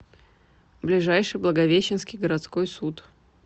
ближайший благовещенский городской суд